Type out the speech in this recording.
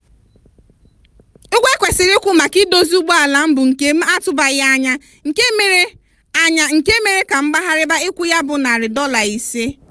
ụgwọ ekwesiri ịkwụ maka idozi ụgbọala m bụ nke m atụbaghị anya nke mere anya nke mere ka m gbaghariba ịkwụ ya bụ nari dola ise.